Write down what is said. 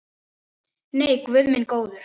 Nei, guð minn góður.